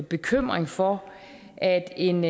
bekymring for at en